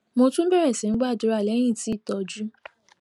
mo tún bèrè sí gbàdúrà léyìn tí ìtójú